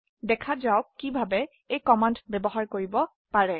দেখা যাওক কিভাবে এই কমান্ড ব্যবহাৰ কৰিব পাৰে